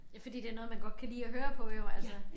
Ja fordi det noget man godt kan lide at høre på jo altså